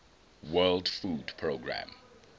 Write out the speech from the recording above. world food programme